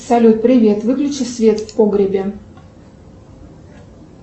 салют привет выключи свет в погребе